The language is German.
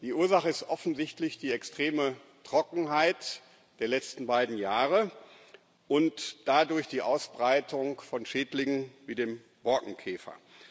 Die Ursache ist offensichtlich die extreme Trockenheit der letzten beiden Jahre und dadurch die Ausbreitung von Schädlingen wie dem Borkenkäfer.